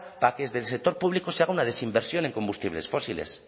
para que desde el sector público se haga una desinversión en combustibles fósiles